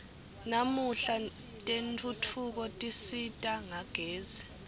namuhla tentfutfuko tisisita ngagezi